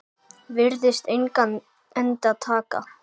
Virðist engan enda taka.